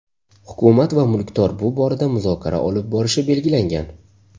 Hukumat va mulkdor bu borada muzokara olib borishi belgilangan.